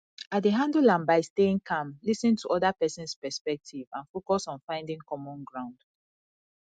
i dey handle am by staying calm lis ten to oda persons perspective and focus on finding common ground